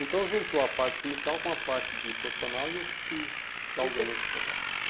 Então, juntou a parte sindical com a parte de profissional e eu fui a alguns outros lugares.